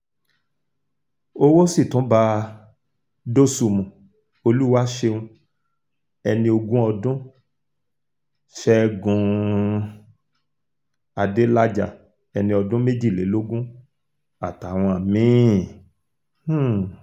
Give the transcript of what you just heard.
owó sì tún bá dosùnmù olùwàṣẹ́un ẹni ogún ọdún ṣẹ́gun um adélájà ẹni ọdún méjìlélógún àtàwọn mí-ín um